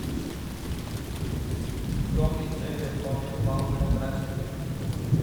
том и джерри полнометражный фильм